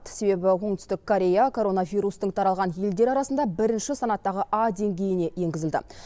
себебі оңтүстік корея коронавирустың таралған елдер арасында бірінші санаттағы а деңгейіне енгізілді